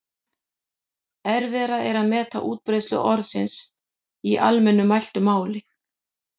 Erfiðara er að meta útbreiðslu orðsins í almennu mæltu máli.